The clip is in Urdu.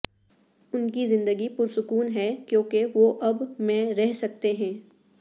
ان کی زندگی پرسکون ہے کیونکہ وہ اب میں رہ سکتے ہیں